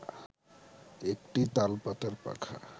একটি তালপাতার পাখা